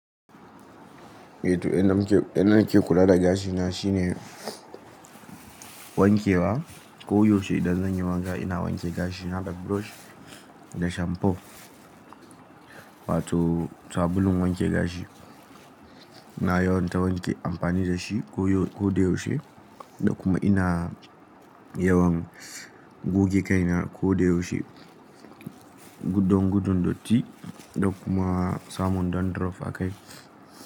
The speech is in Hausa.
Eh to inda ni ke, inda ni ke kula da gashina shine, wanke wa. Ko yaushe idan zan yi wanka, ina wanke gashina da brush da shamfo wato sabulun wanke gashi. Ina yawan ta wanke amfani da shi ko da yaushe. Da kuma ina yawan goge kaina ko da yaushe. Gudun dotti, da kuma samun dandruff a kai.